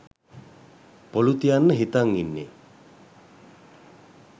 පොලු තියන්න හිතන් ඉන්නෙ.